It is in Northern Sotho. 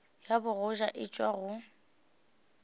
ya bogoja e tšwa go